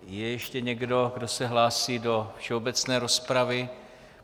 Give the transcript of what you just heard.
Je ještě někdo, kdo se hlásí do všeobecné rozpravy?